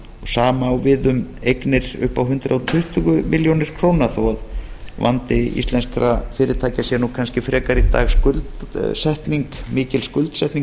sama á við um eignir upp á hundrað tuttugu milljónir króna þó að vandi íslenskra fyrirtækja sé kannski frekar í dag mikil skuldsetning